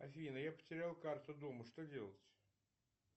афина я потерял карту дома что делать